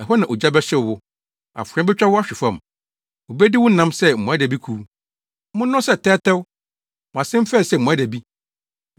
Ɛhɔ na ogya bɛhyew wo; afoa betwa wo ahwe fam, wobedi wo nam sɛ mmoadabikuw. Monnɔ sɛ tɛwtɛw, mo ase mfɛe sɛ mmoadabi!